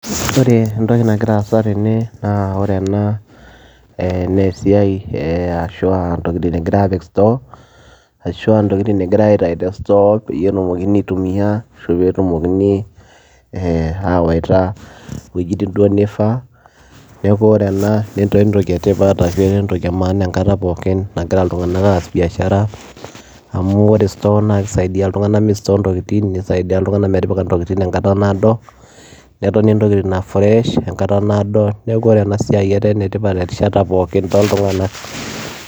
Ore entoki nagira aasa tene naa ore ena ee nee esiai ee ashu ntokitin egirai aapik store, ashu aa ntokitin agirai aitayu te store peyie etumokini aitumia ashu peetumokini ee awaita iwojitin duo nifaa. Neeku ore ena netaa entoki e tipat ashu etaa entoki e maana enkata pookin nagira iltung'anak aas biashara amu ore store naake isadia iltung'anak mistore ntokitin, nisaidia iltung'anak metipika ntokitin enkata naado netoni ntokitin aa fresh enkata naado. Neeku ore ena siai etaa ene tipat erishata pookin tooltung'anak.